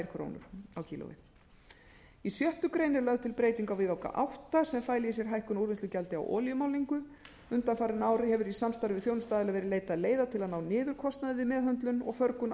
einni og fimmtíu krónum á kílógramm í sjöttu grein er lögð til breyting á viðauka átta sem fæli í sér hækkun á úrvinnslugjaldi á olíumálningu undanfarin ár hefur í samstarfi við þjónustuaðila verið leitað leiða til að ná niður kostnaði við meðhöndlun og förgun